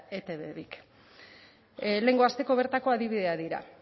etb bik lehengo asteko bertako adibideak dira